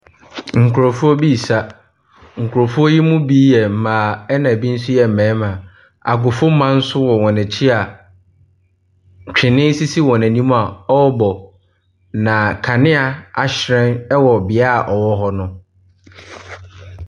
Nkorɔfoɔ bi ɛresa. Nkorɔfoɔ yi mu bi yɛ mmaa ɛna ebi nso ɛyɛ mmarima. Agofoman nso wɔ wɔn akyi a twene sisi wɔnim a ɔɔbɔ. Na kanea ahyirɛn wo beaeɛ ɔwɔ no.